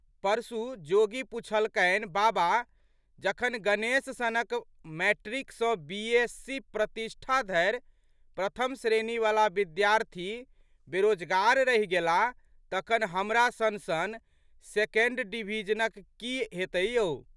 परसू जोगी पुछलकनि, बाबा! जखन गणेश सनक मैट्रिक सँ बी.एस.सी.प्रतिष्टा धरि प्रथम श्रेणीवला विद्यार्थी बेरोजगार रहि गेलाह तखन हमरा सनसन सेकेन्ड डिभिजनरक की हेतै यौ?